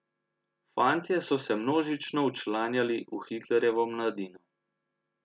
Fantje so se množično včlanjali v Hitlerjevo mladino.